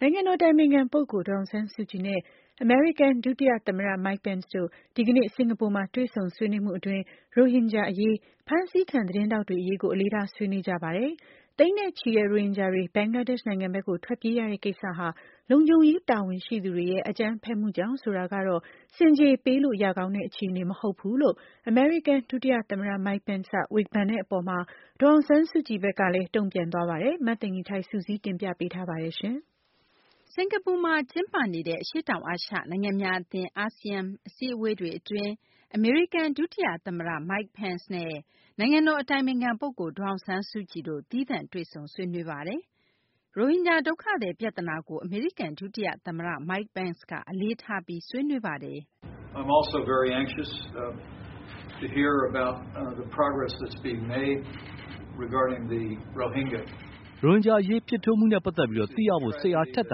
နိုင်ငံတော် အတိုင်ပင်ခံ ပုဂ္ဂိုလ် ဒေါ်အောင်ဆန်းစုကြည်နဲ့ အမေရိကန် ဒုတိယ သမ္မတ Mike Pence တို့ ဒီကနေ့ စကာၤပူမှာ တွေ့ဆုံဆွေးနွေးမှု အတွင်း ရိုဟင်ဂျာ အရေး၊ ဖမ်းဆီးခံ သတင်းထောက်တွေ အရေးကို အလေးထား ဆွေးနွေးကြပါတယ်။ သိန်းနဲ့ချီတဲ့ ရိုဟင်ဂျာတွေ ဘင်္ဂလားဒေရှ့် နိုင်ငံဘက်ကို ထွက်ပြေးကြရတဲ့ ကိစ္စဟာ လုံခြုံရေး တာဝန်ရှိသူတွေရဲ့ အကြမ်းဖက်မှုကြောင့် ဆိုတာကတော့ ဆင်ခြေပေးလို့ ရကောင်းတဲ့ အခြေအနေမဟုတ်ဘူူး လို့ အမေရိကန် ဒုတိယ သမ္မတ Mike Pence က ဝေဖန်တဲ့ အပေါ်မှာတော့ ဒေါ်အောင်ဆန်းစုကြည်ဘက်က တုံ့ပြန်သွားပါတယ်။ မသိင်္ဂ ီထိုက် စုစည်းတင်ပြထားပါတယ်။ စကာၤပူမှာ ကျင်းပနေတဲ့ အရှေ့တောင်အာရှ နိုင်ငံများ အသင်း ASEAN အစည်းအဝေးအတွင်း အမေရိကန် ဒုတိယ သမ္မတ Mike Pence နဲ့ နိုင်ငံတော် အတိုင်ပင်ခံ ပုဂ္ဂိုလ် ဒေါ်အောင်ဆန်းစုကြည်တို့ သီးသန့်တွေ့ဆုံဆွေးနွေးပါတယ်။ ရိုဟင်ဂျာ ဒုက္ခသည် ပြသနာကို အမေရိကန် ဒုတိယ သမ္မတ Mike Pence က အလေးထားပြီး ဆွေးနွေးပါတယ်။ "ရိုဟင်ဂျာ အရေး ဖြစ်ထွန်းမှုနဲ့ ပတ်သက်ပြီး သိရဖို့ စိတ်အားထက်သ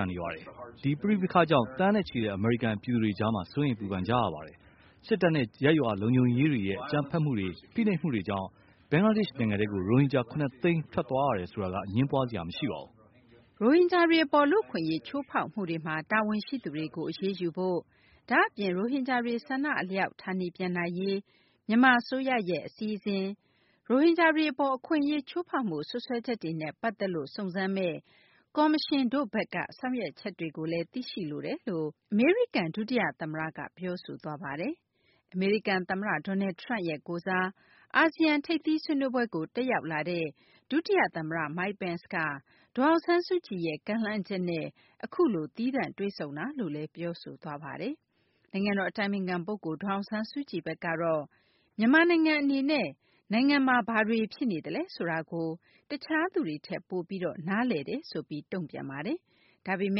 န်နေပါတယ်။ ဒီပဋိပက္ခကြောင့် သန်းနဲ့ချီတဲ့ အမေရိကန် ပြည်သူတွေကြားမှာ စိုးရိမ် ပူပန်ကြရပါတယ်။ စစ်တပ်နဲ့ ရပ်ရွာလုံခြုံရေးတွေရဲ့ အကြမ်းဖက်မှုတွေ၊ ဖိနှိပ်မှုတွေကြောင့် ဘင်္ဂလားဒေရှ့် နိုင်ငံထဲကို ရိုဟင်ဂျာ ၇ သိန်း ထွက်သွားရတယ်ဆိုတာက အငြင်းပွားစရာ မရှိပါဘူး။ ရိုဟင်ဂျာတွေ အပေါ် လူ့အခွင့်အရေး ချိုးဖောက်မှုတွေမှာ တာဝန်ရှိသူတွေကို အရေးယူဖို့၊ ဒါ့အပြင် ရိုဟင်ဂျာတွေ ဆန္ဒ အလျောက် ဌာနေပြန်နိုင်ရေး မြန်မာ အစိုးရရဲ့ အစီအစဉ်၊ ရိုဟင်ဂျာတွေ အပေါ် အခွင့်အရေး ချိုးဖောက်မှု စွပ်စွဲချက်တွေနဲ့ ပတ်သက်ပြီး စုံစမ်းမယ့် ကော်မရှင်တို့ရဲ့ ဆောင်ရွက်ချက်တွေကိုလည်း သိရှိလိုကြောင်း အမေရိကန် ဒုတိယ သမ္မတက ပြောဆိုသွားပါတယ်။ အမေရိကန် သမ္မတ Donald Trump ရဲ့ ကိုယ်စား အာဆီယံ ထိပ်သီးဆွေးနွေးပွဲကို တက်ရောက်လာတဲ့ ဒုတိယ သမ္မတ Mike Pence က ဒေါ်အောင်ဆန်းစုကြည်ရဲ့ ကမ်းလှမ်းချက်နဲ့ အခုလို သီးသန့် တွေ့ဆုံတာလို့လည်း ပြောဆိုသွားပါတယ်။နိုင်ငံတော် အတိုင်ပင်ခံ ပုဂ္ဂိုလ် ဒေါ်အောင်ဆန်းစုကြည် ဘက်ကတော့ မြန်မာနိုင်ငံ အနေနဲ့ နိုင်ငံမှာ ဘာတွေ ဖြစ်နေတာလဲ ဆိုတာကို တခြားသူတွေထက် ပိုပြီး နားလည်ကြောင်း တုံ့ပြန်ပါတယ်။ ဒါပေမ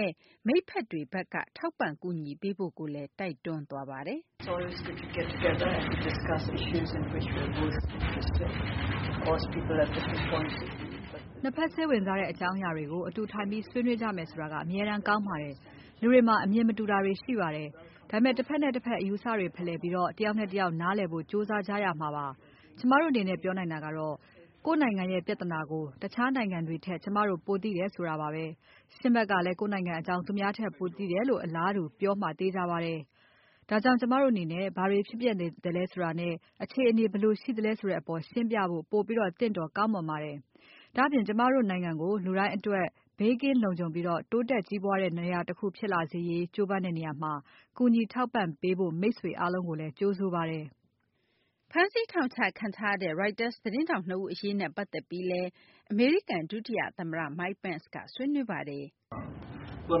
ယ့် မိတ်ဖက်တွေဘက်က ထောက်ပံ့ကူညီပေးဖို့လည်း တိုက်တွန်းသွားပါတယ်။ "နှစ်ဘက် စိတ်ဝင်စားတဲ့ အကြောင်းအရာတွေကို အတူထိုင်ပြီး ဆွေးနွေးကြမယ် ဆိုတာက အမြဲတမ်း ကောင်းပါတယ်။ လူတွေမှာ အမြင်မတူတာတွေ ရှိပါတယ်။ ဒါပေမယ့် တဖက်နဲ့ တဖက် အယူအဆတွေ ဖလှယ်ပြီး တယောက်နဲ့ တယောက် နားလည်ဖို့ ကြိုးစားကြရမှာပါ။ ကျမတို့ အနေနဲ့ ပြောနိုင်တာကတော့ ကိုယ့်နိုင်ငံရဲ့ ပြဿနာကို တခြားနိုင်ငံတွေထက် ကျမတို့ ပိုသိပါတယ်ဆိုတာပါဘဲ။ ရှင့်ဘက်ကလည်း ကိုယ့်နိုင်ငံ အကြောင်း သူများထက် ပိုသိတယ်လို့ အလားတူ ပြောမှာ သေချာပါတယ်။ ဒါကြောင့် ကျမတို့ အနေနဲ့ ဘာတွေ ဖြစ်ပျက်နေသလဲ ဆိုတာနဲ့ အခြေအနေဘယ်လို ရှိသလဲ ဆိုတဲ့ အပေါ် ရှင်းပြဖို့ ပိုပြီး သင့်တော် ကောင်းမွန်ပါတယ်။ ဒါ့အပြင် ကျမတို့ နိုင်ငံကို လူတိုင်းအတွက် ဘေးကင်းလုံခြုံပြီး တိုးတက်ကြီးပွားတဲ့ နေရာတခု ဖြစ်လာစေရေး ကြိုးပမ်းနေတဲ့ နေရာမှာ ကူညီထောက်ပံ့ပေးဖို့ မိတ်ဆွေ အားလုံးကိုလည်း ကြိုဆိုပါတယ်။" ဖမ်းဆီး ထောင်ချခံထားရတဲ့ ရိုက်တာ သတင်းထောက် နှစ်ဦး အရေးနဲ့ ပတ်သက်ပြီးလည်း အမေရိကန် ဒုတိယ သမ္မတ Mike Pence ဘက်က ဆွေးနွေးခဲ့ပါတယ်။ "အ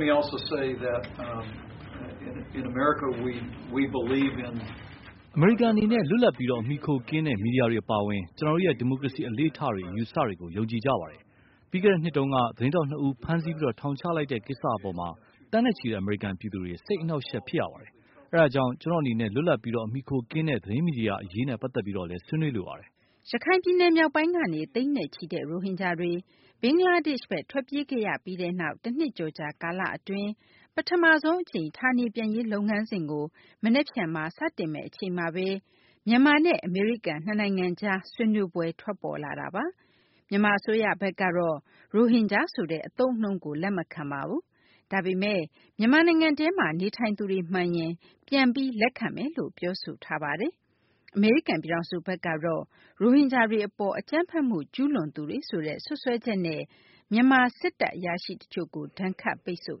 မေရိကန် အနေနဲ့ လွတ်လပ်ပြီး အမှီအခိုကင်းတဲ့ မီဒီယာတွေ အပါအဝင် ကျနော်တို့ရဲ့ ဒီမိုကရေစီ အလေ့အထတွေ အယူအဆတွေကို ယုံကြည်ကြပါတယ်။ ပြီးခဲ့တဲ့ နှစ်က သတင်းထောက် နှစ်ဦးကို ဖမ်းပြီး ထောင်ချလိုက်တဲ့ ကိစ္စ အပေါ် သန်းနဲ့ချီတဲ့ အမေရိကန်ပြည်သူတွေ စိတ်အနှောင့်အယှက်ဖြစ်ရပါတယ်။ အဲဒါကြောင့် ကျနော့် အနေနဲ့ လွတ်လပ်ပြီး အမှီအခိုကင်းတဲ့ သတင်းမီဒီယာ အရေးနဲ့ ပတ်သက်ပြီးလည်း ဆွေးနွေးလိုပါတယ်။" ရခိုင်ပြည်နယ် မြောက်ပိုင်းကနေ သိန်းနဲ့ချီတဲ့ ရိုဟင်ဂျာတွေ ဘင်္ဂလားဒေရှ့်ဘက် ထွက်ပြေးခဲ့ရပြီးနောက် တနှစ်ကျော်ကြာ ကာလအတွင်း ပထမဆုံး အကြိမ် ဌာနေပြန်ရေး လုပ်ငန်းစဉ်ကို မနက်ဖြန်မှာ စတင်မယ့် အချိန်မှာဘဲ မြန်မာနဲ့ အမေရိကန် နှစ်နိုင်ငံကြား ဆွေးနွေးပွဲ ထွက်ပေါ်လာတာပါ။ မြန်မာ အစိုးရဘက်ကတော့ ရိုဟင်ဂျာဆိုတဲ့ အသုံးအနှုန်းကို လက်မခံပါဘူး။ ဒါပေမယ့် မြန်မာနိုင်ငံထဲမှာ နေထိုင်သူတွေ မှန်ရင် ပြန်ပြီး လက်ခံမယ်လို့ ပြောဆိုထားတာပါ။ အမေရိကန် ပြည်ထောင်စုဘက်ကတော့ ရိုဟင်ဂျာတွေ အပေါ် အကြမ်းဖက်မှု ကျူးလွန်သူတွေဆိုတဲ့ စွပ်စွဲချက်နဲ့ မြန်မာ စစ်တပ် အရာရှိ တချို့ကို ဒဏ်ခတ်ပိတ်ဆို့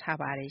ထားပါတယ်